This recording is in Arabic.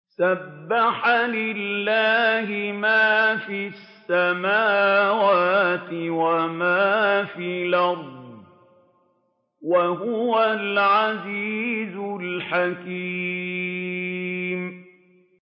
سَبَّحَ لِلَّهِ مَا فِي السَّمَاوَاتِ وَمَا فِي الْأَرْضِ ۖ وَهُوَ الْعَزِيزُ الْحَكِيمُ